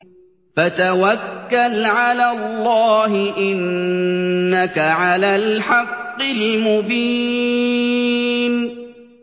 فَتَوَكَّلْ عَلَى اللَّهِ ۖ إِنَّكَ عَلَى الْحَقِّ الْمُبِينِ